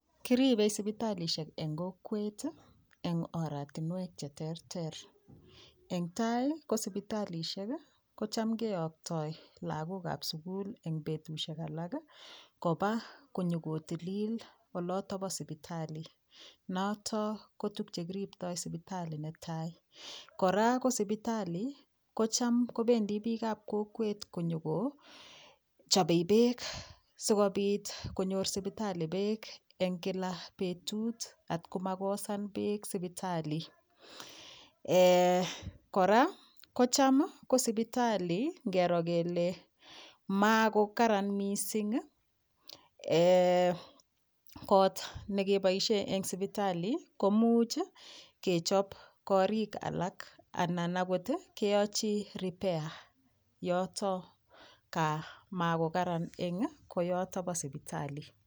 Keribe sibitalishek en kokwet en oratinywek cheter teren en tai ko sibitalishek kotam keyaktoi lagok ab silukul en betushek alak Koba konyonkotilil en oldo olombo sibitali notonnko tuguk chekiriptaengei sibitali koraa kosibitali kocham kobendi bik ab kokwet konyo kochame bek sikobit konyor sibitali bekb en kila betut komakosan bek sibitali en koraa kocham sibitali kele makokaran mising kot nekibaishen en sibitali komuch kechob korolik ab bik alak ak keyochi repair yoton makokaran en yoton ko sibitali